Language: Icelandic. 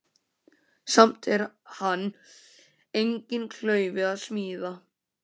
Samt er hann enginn klaufi að smíða.